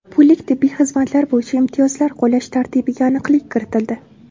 Pullik tibbiy xizmatlar bo‘yicha imtiyozlar qo‘llash tartibiga aniqlik kiritildi.